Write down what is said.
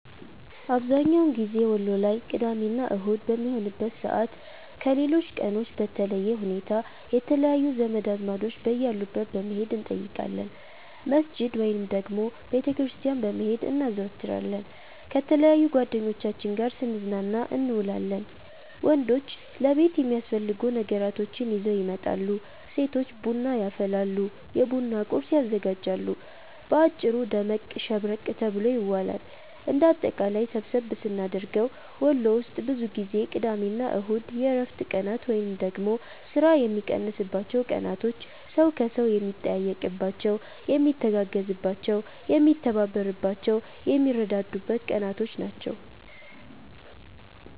አብዝሀኛውን ጊዜ ወሎ ላይ ቅዳሜ እና አሁድ በሚሆንበት ሰዓት ከሌሎች ቀኖች በለየ ሁኔታ የተለያዩ ዘመድ አዝማዶች በያሉበት በመሄድ እንጠይቃለን፣ መስጅድ ወይንም ደግሞ ቤተ ክርስቲያን በመሄድ እናዘወትራለን፣ ከተለያዩ ጓደኞቻችን ጋር ስንዝናና እንውላለን። ወንዶች ለቤት የሚያስፈልጉ ነገራቶችን ይዘው ይመጣሉ፤ ሴቶች ቡና ያፈላሉ፤ የቡና ቁርስ ያዘጋጃሉ። በአጭሩ ደመቅ ሸብረቅ ተብሎ ይዋላል። እንደ አጠቃላይ ሰብሰብ ስናደርገው ወሎ ውስጥ ብዙ ጊዜ ቅዳሜ እና እሁድ የእረፍት ቀናት ወይንም ደግሞ ስራ የሚቀንስባቸው ቀናቶች፣ ሰው ከሰው የሚጠያየቅባቸው፣ የሚተጋገዝባቸው፣ የሚተባበርባቸው፣ የሚረዳዳበት ቀናቶች ናቸው።